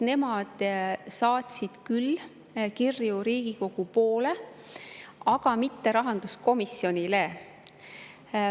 Nemad saatsid küll kirju Riigikogu poole, aga mitte rahanduskomisjonile.